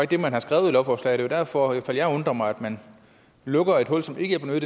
det man har skrevet i lovforslaget det er derfor jeg undrer mig man lukker et hul som ikke er